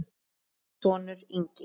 Þinn sonur, Ingi.